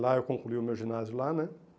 Lá eu concluí o meu ginásio lá, né?